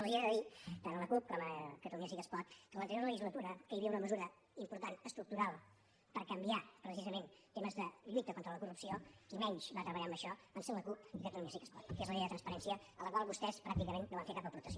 els hi he de dir tant a la cup com a catalunya sí que es pot que en l’anterior legislatura que hi havia una mesura important estructural per canviar precisament temes de lluita contra la corrupció qui menys va treballar en això van ser la cup i catalunya sí que es pot que és la llei de transparència a la qual vostès pràcticament no van fer cap aportació